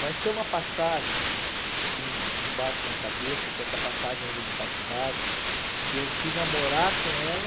Mas tem uma passagem que me me bate na cabeça, que é essa passagem ainda de faculdade, que eu fui namorar com ela...